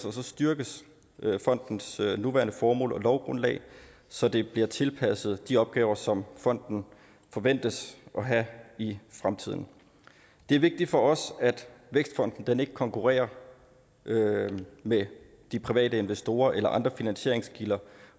og så styrkes fondens nuværende formål og lovgrundlag så det bliver tilpasset de opgaver som fonden forventes at have i fremtiden det er vigtigt for os at vækstfonden ikke konkurrerer med de private investorer eller andre finansieringskilder